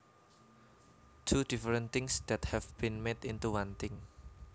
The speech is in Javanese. Two different things that have been made into one thing